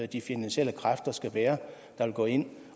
de finansielle kræfter skal være der vil gå ind